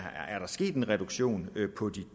sket en reduktion på